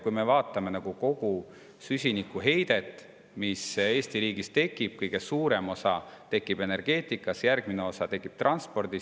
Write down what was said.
Kui me vaatame kogu süsinikuheidet, mis Eesti riigis tekib, siis kõige suurem osa tekib energeetikas, järgmine osa tekib transpordis.